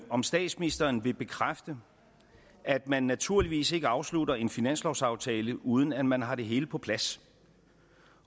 om statsministeren vil bekræfte at man naturligvis ikke afslutter en finanslovsaftale uden at man har det hele på plads